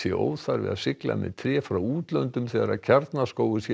óþarfi að sigla með tré frá útlöndum þegar Kjarnaskógur sé í